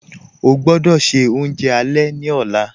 Ọ̀ gbọdọ́ ṣẹ ọ̀unjẹ alẹ̀ ni ọ̀la